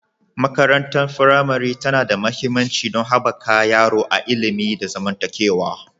Makarantar firamare tana da mahimmanci don haɓaka yaro a ilimi da zamantakewa.